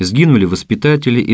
сгинули воспитатели и